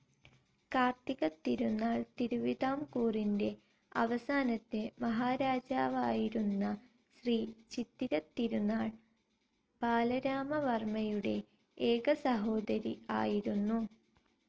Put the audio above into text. കാർത്തിക തിരുനാൾ തിരുവിതാംകൂറിന്റെ അവസാനത്തെ മഹാരാജാവായിരുന്ന ശ്രീ ചിത്തിര തിരുനാൾ ബാലരാമവർമ്മയുടെ ഏക സഹോദരി ആയിരുന്നു.